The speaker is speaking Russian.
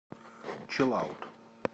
чилаут